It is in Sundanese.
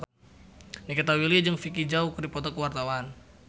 Nikita Willy jeung Vicki Zao keur dipoto ku wartawan